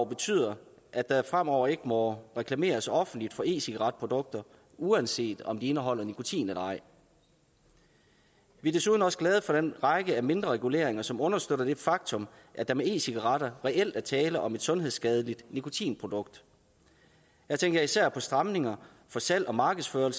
betyder at der fremover ikke må reklameres offentligt for e cigaret produkter uanset om de indeholder nikotin eller ej vi er desuden også glade for den række af mindre reguleringer som understøtter det faktum at der med e cigaretter reelt er tale om et sundhedsskadeligt nikotinprodukt jeg tænker især på stramninger af salg og markedsføring